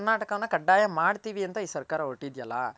ಕರ್ನಾಟಕನ ಕಡ್ಡಾಯ ಮಾಡ್ತಿವಿ ಅಂತ ಈ ಸರ್ಕಾರ ಹೊರಟಿಯದಲ